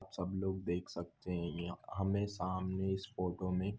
सब लोग देख सकते है य हमे सामने इस फोटो मे।